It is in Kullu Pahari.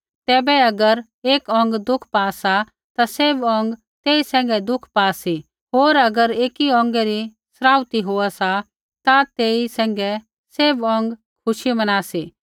तैबै अगर एक अौंग दुःख पा सा ता सैभ अौंग तेई सैंघै दुःख पा सी होर अगर एकी अौंगै री सराहना होआ सा ता तेई सैंघै सैभ अौंग खुशी मना सी